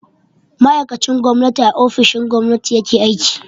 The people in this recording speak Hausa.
Ma'aikacin gwamnati a ofishin gwamnati ya ke aiki.